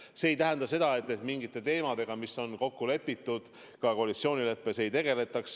See aga ei tähenda seda, et mingite teemadega, mis on kokku lepitud koalitsioonileppes, ei tegeletaks.